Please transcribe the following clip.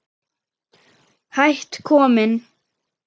Hætt kominn